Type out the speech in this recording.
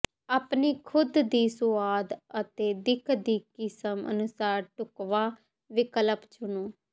ਆਪਣੀ ਖੁਦ ਦੀ ਸੁਆਦ ਅਤੇ ਦਿੱਖ ਦੀ ਕਿਸਮ ਅਨੁਸਾਰ ਢੁਕਵਾਂ ਵਿਕਲਪ ਚੁਣੋ